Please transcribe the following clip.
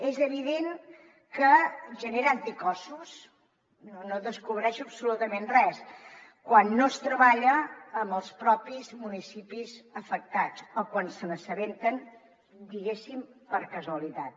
és evident que genera anticossos no descobreixo absolutament res quan no es treballa amb els propis municipis afectats o quan se n’assabenten diguéssim per casualitat